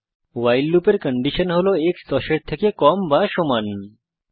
ভাইল loop এর condition হল x is less than or equal to 10